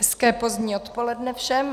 Hezké pozdní odpoledne všem.